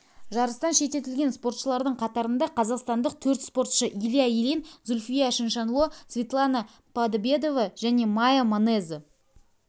жарыстан шеттетілген спортшылардың қатарында қазақстандық төрт спортшы илья ильин зүлфия чиншанло светлана подобедова және майя манеза